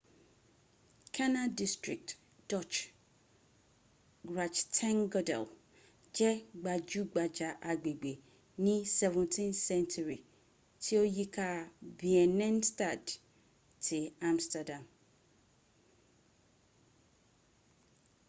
canal district dutch: grachtengordel je gbajugbaja agbegbe ni 17th-century ti o yi ka binnenstad ti amsterdam